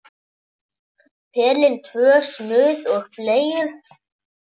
Pelinn, tvö snuð og bleiur.